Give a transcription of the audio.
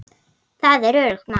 Það er öruggt mál.